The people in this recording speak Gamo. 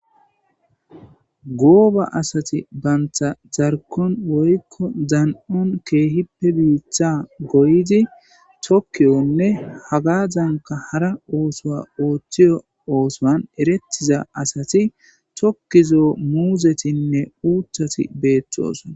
gooba asati bantha zarkon woykko zan7on keehippe biitha goydi tokkiyonne hagazanka hara oosoa ooththiyo oosoan erettiza asati tokkizoo muuzetinne uuthati beeththoos